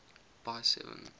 by seven